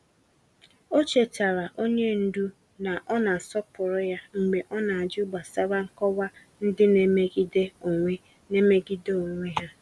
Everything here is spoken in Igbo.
Ọ chetaara onye ndu na ọ na-asọpụrụ ya mgbe ọ na-ajụ gbasara nkọwa ndị na-emegide onwe na-emegide onwe ha.